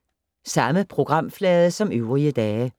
Samme programflade som øvrige dage